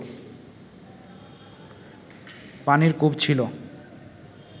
পানির কূপ ছিল